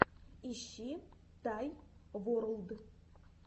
ищи тай ворлд